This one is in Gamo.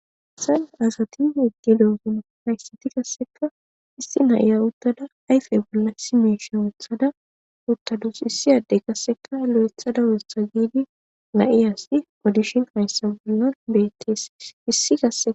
Hayssn assati uttidogey kassekka issi na'iya uttada ayfe bolla issi miishsha wuththada uttadus issi addey kassekka lo'eththada woththa giidi na'ieyssi odishshin be'ayssa bollan bettees issi kassekka